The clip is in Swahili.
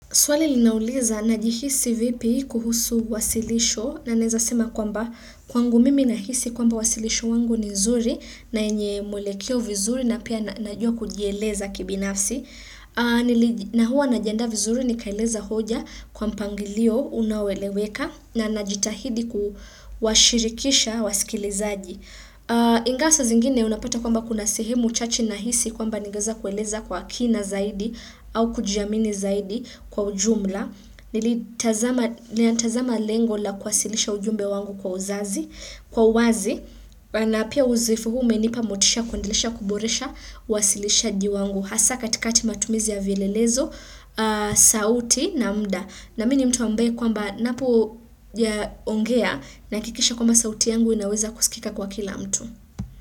Swali linauliza najihisi vipi kuhusu wasilisho na naeza sema kwamba kwangu mimi nahisi kwamba wasilisho wangu ni zuri na enye mwelekeo vizuri na pia najua kujieleza kibinafsi. Na huwa najiandaa vizuri nikaeleza hoja kwa mpangilio unaoleweka na najitahidi kuwashirikisha wasikilizaji. Ingawa saa zingine unapata kwamba kuna sehemu chache nahisi kwamba ningeweza kueleza kwa kina zaidi au kujiamini zaidi kwa ujumla. Nilitazama lengo la kuwasilisha ujumbe wangu kwa uzazi, kwa wazi na pia uzoefu huu umenipa motisha ya kuendelesha kuboresha wasilishaji wangu. Hasa katikati matumizi ya vielelezo, sauti na muda. Na mi ni mtu ambaye kwamba napo ya ongea nahakikisha kwamba sauti yangu inaweza kusikika kwa kila mtu.